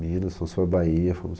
Minas, São Se, Bahia.